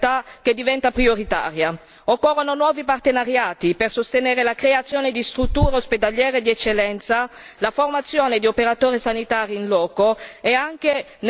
Occorrono nuovi partenariati per sostenere la creazione di strutture ospedaliere di eccellenza, la formazione di operatori sanitari in loco e nel settore dell'istruzione.